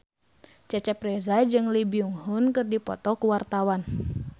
Cecep Reza jeung Lee Byung Hun keur dipoto ku wartawan